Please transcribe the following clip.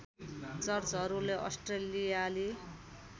चर्चहरूले अस्ट्रेलियाली